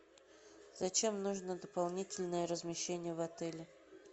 зачем нужно дополнительное размещение в отеле